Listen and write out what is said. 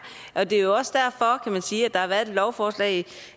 og det er jo også derfor kan man sige at der har været et lovforslag